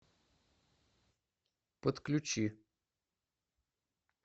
подключи